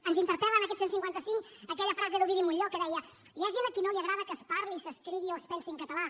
ens interpel·la en aquest cent i cinquanta cinc aquella frase d’ovidi montllor que deia hi ha gent a qui no li agrada que es parli s’escrigui o es pensi en català